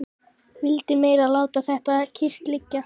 Vitið meira að láta þetta kyrrt liggja.